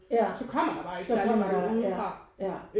Ja så kommer der ja ja